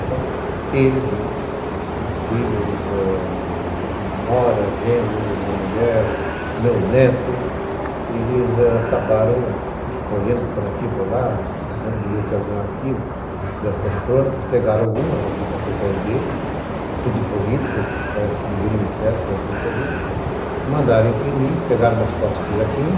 Então, eles, meus filhos, Nora, genros, minha mulher, meu neto, eles acabaram escolhendo por aqui e por lá, deviam ter algum arquivo destas crônicas, pegaram algumas a critério deles, tudo corrido, parece que segundo me disseram, fizeram tudo corrido, mandaram imprimir, pegaram umas fotos que já tinham,